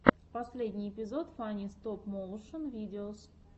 последний эпизод фанни стоп моушен видеос